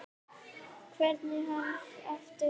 Kveikir hana aftur.